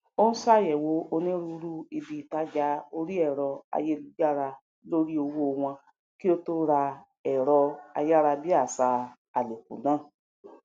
ò ń ṣàyẹwò onírúúrú ibi ìtajà orí ẹrọ ayélujára lori owo wọn kí o tó ra ẹrọ ayárabíàṣá àlòkù náà